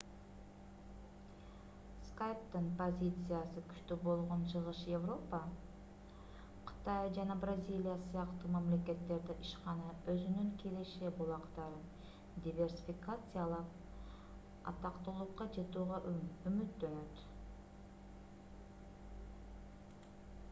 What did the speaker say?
skype'тын позициясы күчтүү болгон чыгыш европа кытай жана бразилия сыяктуу мамлекеттерде ишкана өзүнүн киреше булактарын диверсификациялап атактуулукка жетүүгө үмүттөнөт